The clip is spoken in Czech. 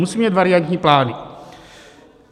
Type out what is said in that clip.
Musíme mít variantní plány.